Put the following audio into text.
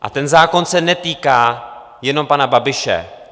A ten zákon se netýká jenom pana Babiše.